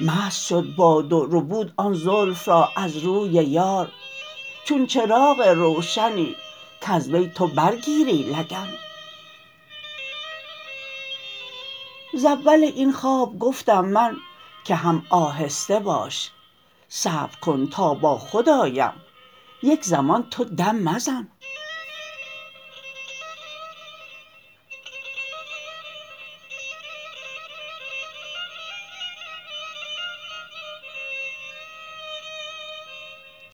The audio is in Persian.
مست شد باد و ربود آن زلف را از روی یار چون چراغ روشنی کز وی تو برگیری لگن ز اول این خواب گفتم من که هم آهسته باش صبر کن تا باخود آیم یک زمان تو دم مزن